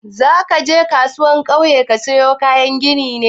Zaka je kasuwar kauye ka sayo kayan ginin ne?